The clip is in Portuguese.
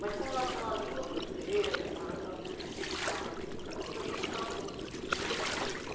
Mas com relação à língua francesa, com relação ah eh aconteceu junto com a música né.